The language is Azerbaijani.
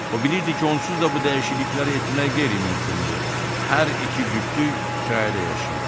O bilirdi ki, onsuz da bu dəyişiklikləri etmək qeyri-mümkündür, hər iki cütlük kirayədə yaşayırdı.